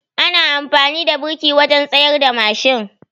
Ana amfani da biriki wajen tsayarda mashin